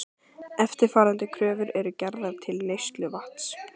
Eftirfarandi kröfur eru gerðar til neysluvatns